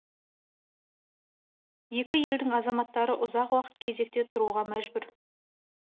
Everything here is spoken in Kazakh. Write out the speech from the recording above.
екі елдің азаматтары ұзақ уақыт кезекте тұруға мәжбүр